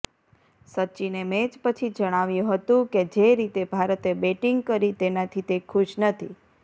સચિને match પછી જણાવ્યું હતું કે જે રીતે ભારતે બેટિંગ કરી તેનાથી તે ખુશ નથી